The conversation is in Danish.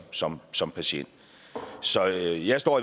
som som patient så jeg står